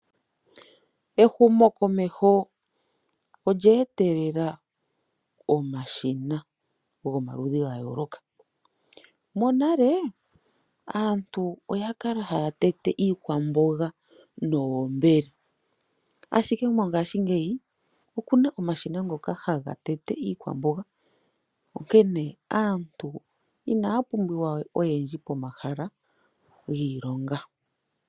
Ehumo komeho olye etelela omashina goma ludhi ga yooloka, monale aantu oya kala haya tete iikwamboga noombele ashike mongaashi ngeyi okuna omashina ngoka haga tete iikwamboga onkene aantu inaya pumbiwa oyendji pomahala giilonga.